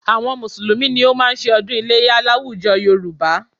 Àwọn Mùsùlùmí ni ó máa ń ṣe ọdún iléyá láwùjọ Yorùbá